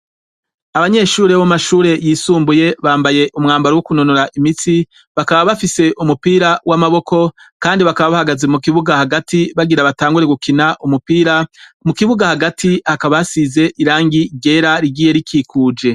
Abanyeshure b'amashure yisumbuye bambaye umwambaro wo kunonora imitsi bakaba bafise umupira w'amaboko kandi bakaba bahagaze mu kibuga hagati bagira batangure gukina umupira mu kibuga hagati hakaba hasize irangi ryera rigiye rikikuje.